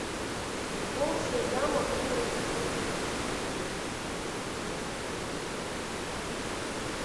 волчья яма фулл эйч ди